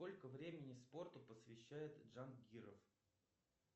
сколько времени спорту посвящает джан гиров